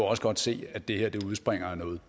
også godt se at det her udspringer af noget